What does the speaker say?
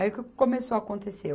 Aí, o que começou a acontecer?